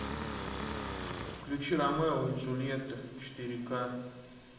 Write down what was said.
включи ромео и джульетта четыре к